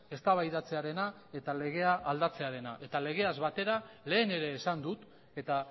eztabaidatzearena eta legea aldatzearena eta legeaz batera lehen ere esan dut eta